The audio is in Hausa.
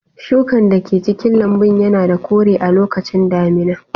Shukan da ke cikin lambun yana da kore a lokacin damina.